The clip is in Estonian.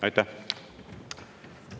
Aitäh!